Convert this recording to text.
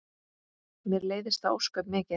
Mér leiðist það ósköp mikið.